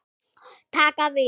Taka við?